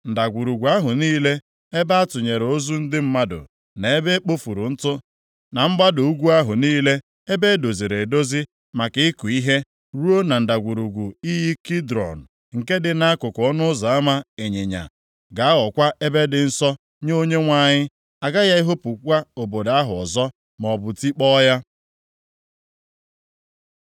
Ndagwurugwu ahụ niile ebe a tụnyere ozu ndị mmadụ, na ebe e kpofuru ntụ, na mgbada ugwu ahụ niile ebe e doziri edozi maka ịkụ ihe, ruo na ndagwurugwu iyi Kidrọn nke dị nʼakụkụ ọnụ ụzọ ama ịnyịnya, ga-aghọkwa ebe dị nsọ nye Onyenwe anyị. A gaghị ehopukwa obodo ahụ ọzọ, maọbụ tikpọọ ya.”